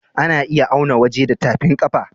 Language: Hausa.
A na iya auna waje da tafin kafa